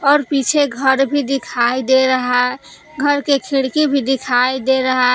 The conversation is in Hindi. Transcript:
और पीछे घर भी दिखाई दे रहा घर के खिड़की भी दिखाई दे रहा--